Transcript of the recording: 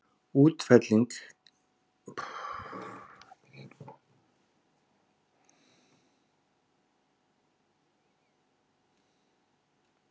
Úrfelling gæti legið að baki í íslensku, til dæmis að orðið högg sé fellt brott.